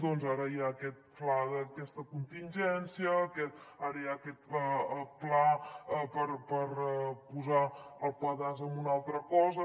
doncs ara hi ha aquest fla d’aquesta contingència ara hi ha aquest pla per posar el pedaç a una altra cosa